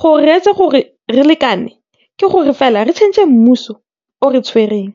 gore re etse gore re lekane ke gore fela re tšhentšhe mmuso o re tshwereng.